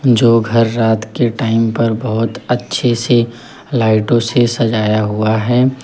जो घर रात के टाइम पर बहोत अच्छे से लाइटों से सजाया हुआ है।